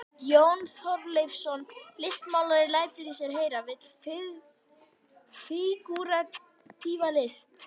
Jón Þorleifsson listmálari lætur í sér heyra, vill fígúratíva list.